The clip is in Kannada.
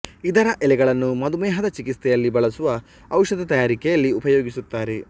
ಇದರ ಎಲೆಗಳನ್ನು ಮಧುಮೇಹದ ಚಿಕಿತ್ಸೆಯಲ್ಲಿ ಬಳಸುವ ಔಷಧ ತಯಾರಿಕೆಯಲ್ಲಿ ಉಪಯೋಗಿಸುತ್ತಾರೆ